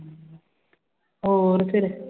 ਹੋਰ ਫਿਰ